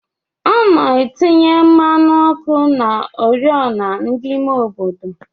Ana atinye mmanụ ọkụ na ori ọna ndi ime obodo.